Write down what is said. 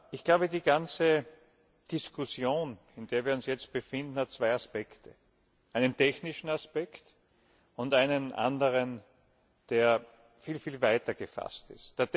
Ich glaube, die ganze Diskussion, in der wir uns jetzt befinden, hat zwei Aspekte einen technischen Aspekt und einen anderen, der viel viel weiter gefasst ist.